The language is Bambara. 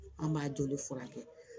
An b'a joli furakɛ